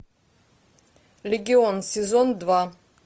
легион сезон два